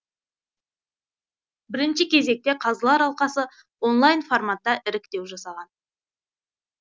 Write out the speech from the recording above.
бірінші кезекте қазылар алқасы онлайн форматта іріктеу жасаған